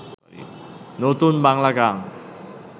নতুন বাংলা গান